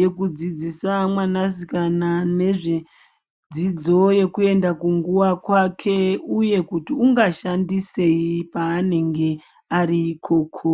yekudzidzisa mwanasikana kana nezvedzidzo yekuenda kunguva kwake uye kuti ungashandisei paanenge ari ikoko.